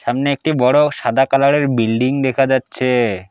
সামনে একটি বড় সাদা কালারের বিল্ডিং দেখা যাচ্ছে।